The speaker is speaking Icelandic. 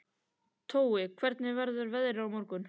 Tói, hvernig verður veðrið á morgun?